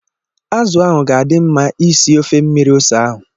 Azụ ahụ ga-adị mma ị sie ofe mmiri ose ahụ.